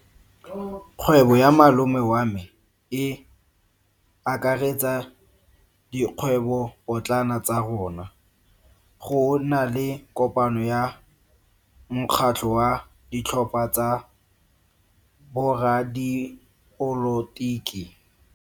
Kgwebo ya malome wa me e akaretsa dikgwebopotlana tsa rona. Go na le kopano ya mokgatlho wa ditlhopha tsa boradipolotiki.